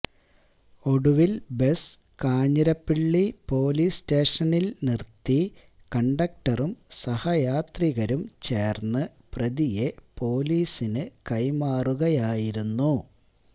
ഒടുവില് bus Kanjirappally police സ്റ്റേഷനില് നിര്ത്തി കണ്ടക്റ്ററും സഹയാത്രികരും ചേര്ന്ന് പ്രതിയെ പോലീസിനു കൈമാറുകയായിരുന്നു